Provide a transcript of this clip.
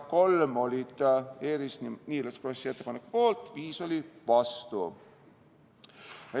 Kolm liiget olid Eerik-Niiles Krossi ettepaneku poolt, viis olid vastu.